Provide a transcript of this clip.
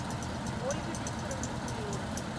ольга викторовна киреева